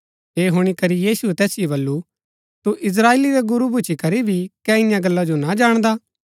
ऐह हुणी करी यीशुऐ तैसिओ वलू तू इस्त्राएली रा गुरू भूच्ची करी भी कै ईयां गल्ला जो ना जाणदा